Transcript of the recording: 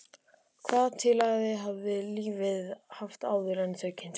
Hvaða tilgang hafði lífið haft áður en þau kynntust?